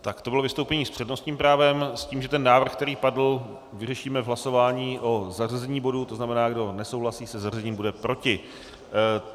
Tak to bylo vystoupení s přednostním právem, s tím, že ten návrh, který padl, vyřešíme v hlasování o zařazení bodu, to znamená, kdo nesouhlasí se zařazením, bude proti.